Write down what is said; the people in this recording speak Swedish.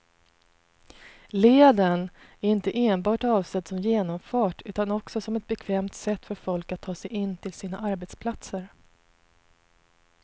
Leden är inte enbart avsedd som genomfart utan också som ett bekvämt sätt för folk att ta sig in till sina arbetsplatser.